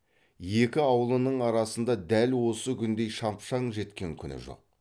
екі аулының арасында дәл осы күндей шапшаң жеткен күні жоқ